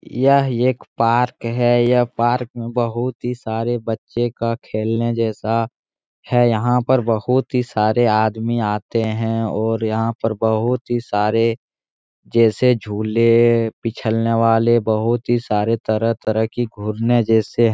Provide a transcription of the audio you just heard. यह एक पार्क है यह पार्क बहुत ही सारे बच्चे का खेलने जैसा है यहाँ पर बहुत ही सारे आदमी आते हैं और यहाँ पर बहुत ही सारे जैसे झूले बिच्छ्लने वाले बहुत ही सारे तरह-तरह की घूरने जैसे --